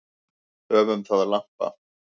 Höfum það lampa.